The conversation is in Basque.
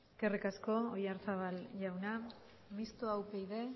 eskerrik asko oyarzabal jauna mistoa upyd